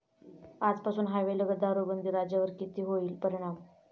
आजपासून हायवे लगत दारूबंदी, राज्यावर किती होईल परिणाम?